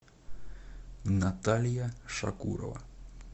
наталья шакурова